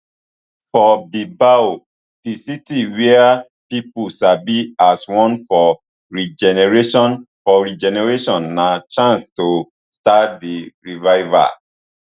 for bilbao di city wia pipo sabi as one for regeneration for regeneration na chance to start di revival